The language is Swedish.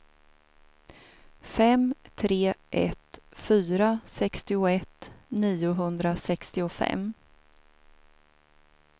fem tre ett fyra sextioett niohundrasextiofem